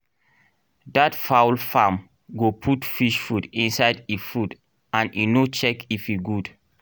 that fowl farm go put fish food inside e food and e no check if e good